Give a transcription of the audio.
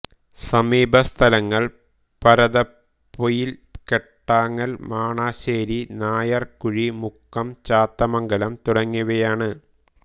സമീപ സ്ഥലങ്ങൾ പരതപ്പൊയിൽ കെട്ടാങ്ങൽ മണാശ്ശേരി നായർകുഴി മുക്കം ചാത്തമംഗലം തുടങ്ങിയവയാണ്